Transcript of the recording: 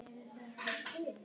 Ég þegi líka.